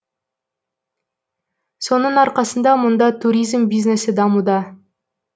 соның арқасында мұнда туризм бизнесі дамуда